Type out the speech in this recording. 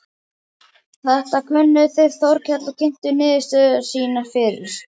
Þetta könnuðu þeir Þórkell og kynntu niðurstöður sínar fyrir